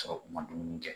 Sɔrɔ u ma dumuni kɛ